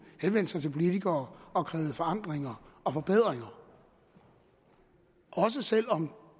henvendte sig til politikere og krævede forandringer og forbedringer også selv om